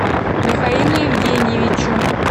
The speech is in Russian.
михаилу евгеньевичу